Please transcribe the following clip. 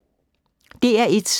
DR1